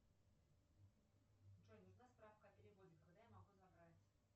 джой нужна справка о переводе когда я могу забрать